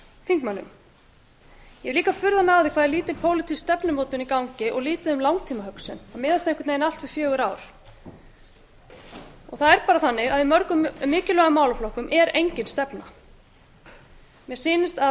þingmönnum ég hef líka furðað mig á því hvað er lítil pólitísk stefnumótun í gangi og lítið um langtímahugsun það miðast einhvern veginn allt við fjögur ár það er bara þannig að í mörgum mikilvægum málaflokkum er engin stefna mér sýnist að